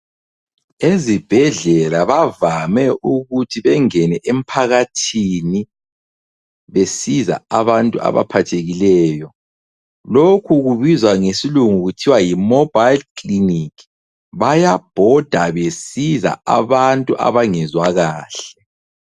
Ezibhedlela bavame ukuthi bengene emphakathini, besiza abantu abaphathekileyo. Lokhu kubizwa ngesilungu kuthiwa yi- mobile clinic. Bayabhoda besiza abantu abangezwa kahle.